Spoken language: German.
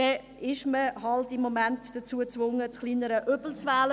Wir sind halt einfach im Moment dazu gezwungen, das kleinere Übel zu wählen.